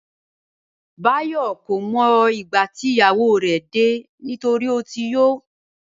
Báyò̩ kò mo̩ ìgbà tí ìyàwó rè̩ dé nítorí ó ti yó